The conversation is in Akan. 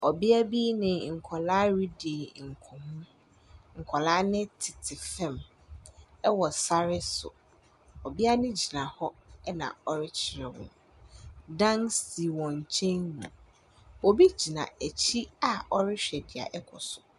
Ɔbea bi ne nkwadaa redi nkɔmmɔ. Nkwadaa no tete fam wɔ sare so. Ɔbea no gyina hɔ na ɔrekyerɛ wɔn. Dan si wɔn nkyɛn mu. Obi gyina wɔn akyi a ɔrehwɛ deɛ ɛrekɔ so.